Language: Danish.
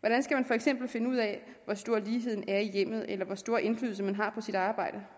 hvordan skal man for eksempel finde ud af hvor stor ligheden er i hjemmet eller hvor stor indflydelse man har på sit arbejde